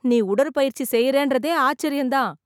நீ உடற்பயிற்சி செய்றன்றதே ஆச்சர்யம் தான்.